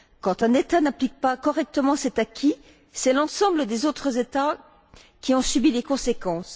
Quand un État n'applique pas correctement cet acquis, c'est l'ensemble des autres États qui en subit les conséquences.